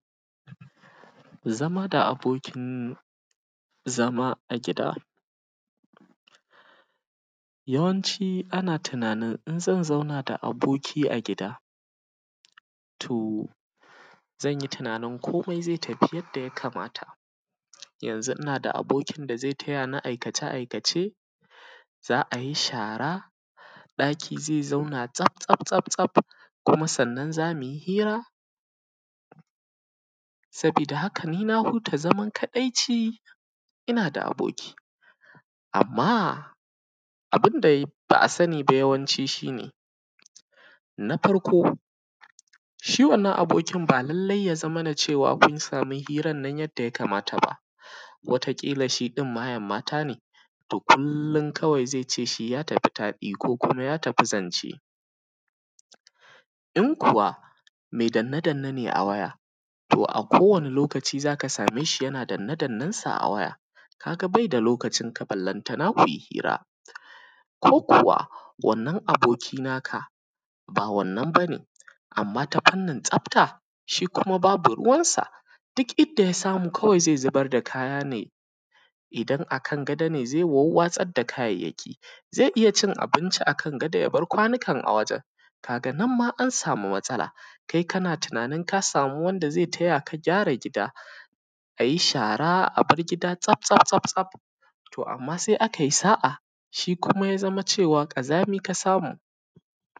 Zama da abokin zama a gida, ya wanci ana tunanin in zan zauna a aboki a gida to zanyi tunanin komai zai tafi yadda ya kamata inna da abokin da zai tayani aikace aikace. Za’ayi shara ɗaki zai zauna tsaf tsaf tsaf kuma sannan zamuyi hira, sabida haka ni na huta zaman kaɗaici inna da aboki, amma abunda ba’a sani ba yawanci shine. Na farko shi wannan abokin ba lallai ya zamana cewa kunsami hirannan yadda ya kamata ba, wata ƙila shidin mayen mata ne da kullin zaice ya tafi taɗi ko kuma ya tafi zance. In kuwa mai danne danne ne a waya a koda yaushe zaka sameshi yana danne dannen shi a waya kaga baida lokacin ka ballantana kui hira ko kuwa wannan aboki naka ba wannan bane amma ta fanin tsafta, shi kuma babu ruwansa duk inda yasamu zai zubar da kaya ne, idan akan gado ne zai wawwatsar da kayayyaki zai iyyacin abinci akan gado yabar kwanon a wajen kaganan ma ansama matsala kai kana tunanin ka sama wanda zai tayaka gyara gida, ayi shara a bar gida tsaf tsaf tsaf amma sai akai sa’a shi kuma zama cewa ƙazami ka samu.